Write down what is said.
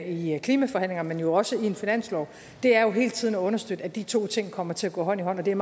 i klimaforhandlingerne men også i en finanslov er jo hele tiden at understøtte at de to ting kommer til at gå hånd i hånd og det er